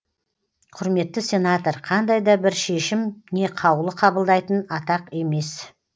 құрметті сенатор қандай да бір шешім не қаулы қабылдайтын атақ емес